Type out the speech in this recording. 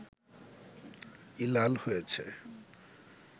ই লাল হয়েছে